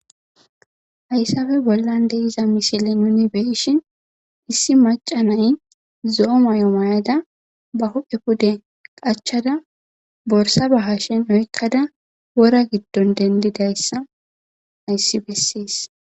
hayssafe bollan de'iza mishile nuni be'eshin issi macanay zo'o mayo mayada ba huphe pude qachada borsa ba hashen oykkada wora giddon dendidayssa hayssi bessees